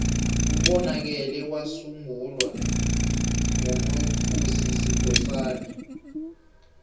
ubonakele wasungulwa nqu mascusi skhosana